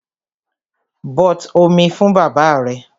But omi fún bàbáà rẹ!